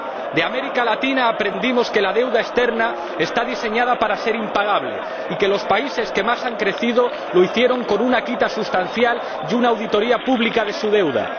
De América Latina aprendimos que la deuda externa está diseñada para ser impagable y que los países que más han crecido lo hicieron con una quita sustancial y una auditoría pública de su deuda.